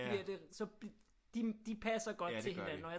Bliver det så de passer godt til hinanden og jeg